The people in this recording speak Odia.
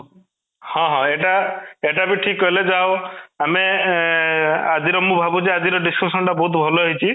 ହଁ, ହଁ ଏଇଟା ବି ଠିକ କହିଲେ ଯାହା ହଉ ଆମେ ଏଁ ଆଜିର ମୁଁ ଭାବୁଛି ଆଜିର discussion ଟା ବହୁତ ଭଲ ହେଇଛି